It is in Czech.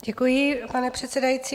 Děkuji, pane předsedající.